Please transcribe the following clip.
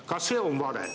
Ka see on vale.